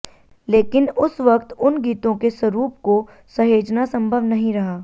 लेकिन उस वक्त उन गीतों के स्वरूप को सहेजना संभव नहीं रहा